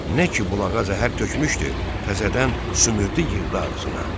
Nə ki bulağa zəhər tökmüşdü, təzədən sümürdü yığdı ağzına.